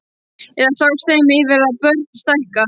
Eða sást þeim yfir að börn stækka?